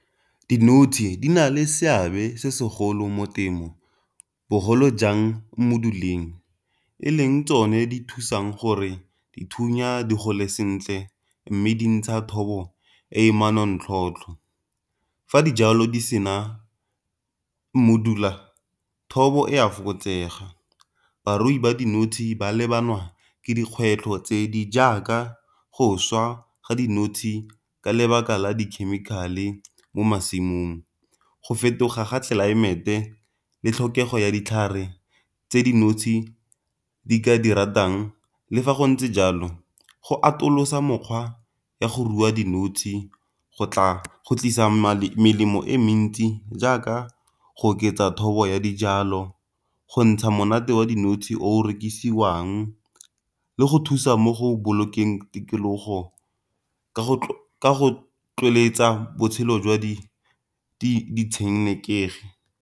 Dinotshe di na le seabe se segolo mo temo bogolo jang mmoduleng. E leng tsone di thusang gore dithunya di gole sentle mme di ntsha thobo e manontlhotlho. Fa dijalo di sena mmodula thobo e a fokotsega, barui ba dinotshe ba lebana le dikgwetlho tse di jaaka go swa ga dinotshe di ka lebaka la dikhemikhale mo masimong, go fetoga ga tlelaemete, le tlhokego ya ditlhare tse dinotshe di ka di ratang le fa go ntse jalo go atolosa mokgwa ya go rua dinotshe go tlisa melemo e mentsi jaaka go oketsa thobo ya dijalo, go ntsha monate wa dinotshe o rekisiwang, le go thusa mo go bolokang tikologo ka go botshelo jwa di ditshenekegi.